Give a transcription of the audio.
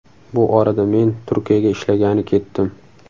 Bu orada men Turkiyaga ishlagani ketdim.